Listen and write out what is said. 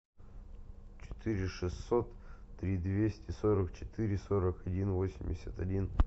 четыре шестьсот три двести сорок четыре сорок один восемьдесят один